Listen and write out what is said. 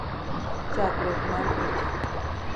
chakruok mar picha